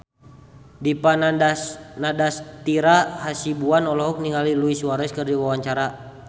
Dipa Nandastyra Hasibuan olohok ningali Luis Suarez keur diwawancara